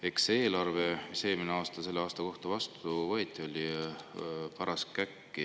Eks see eelarve, mis eelmisel aastal selle aasta kohta vastu võeti, oli paras käkk.